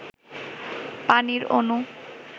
পানির অণু